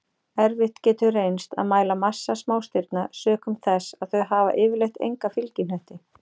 Erfitt getur reynst að mæla massa smástirna sökum þess að þau hafa yfirleitt enga fylgihnetti.